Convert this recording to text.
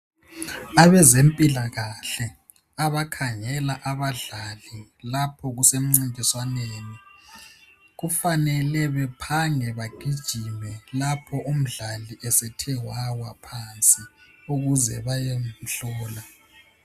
Abezempilakahle abakhangela abadlali lapho kusemcintiswaneni. Kufanele bephange bagijime lapho umdlali esethe wawa phansi ukuze bayemhlola.